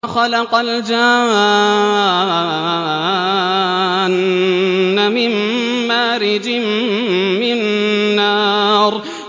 وَخَلَقَ الْجَانَّ مِن مَّارِجٍ مِّن نَّارٍ